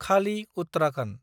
खालि - उत्तराखन्द